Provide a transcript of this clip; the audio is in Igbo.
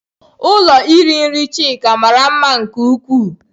Ụlọ iri nri Chika mara mma nke ukwuu.